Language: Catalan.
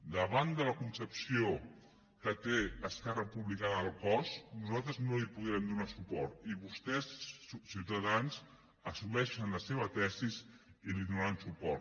davant de la concepció que té esquerra republicana del cos nosaltres no hi podem donar suport i vostès ciutadans assumeixen la seva tesi i hi donaran suport